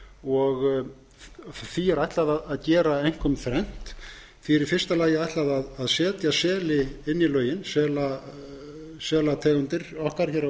og því er ætlað að gera einkum þrennt því er í fyrsta lagi ætlað að setja seli inn í lögin selategundir okkar á